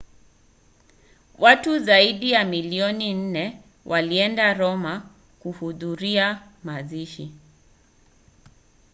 watu zaidi ya milioni nne walienda roma kuhudhuria mazishi